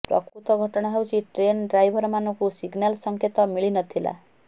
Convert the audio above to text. ପ୍ରକୃତ ଘଟଣା ହେଉଛି ଟ୍ରେନର ଡ୍ରାଇଭରମାନଙ୍କୁ ସିଗନାଲ ସଙ୍କେତ ମିଳିନଥିଲା